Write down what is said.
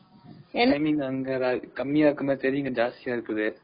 அங்க கம்மியா இருக்கமாதிரி தெரியும், இங்க ஜாஸ்தியா இருக்குது.